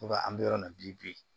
an bɛ yɔrɔ min na bi bi